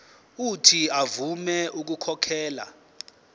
uuthi avume ukukhokhela